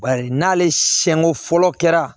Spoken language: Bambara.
Bari n'ale siɲɛnko fɔlɔ kɛra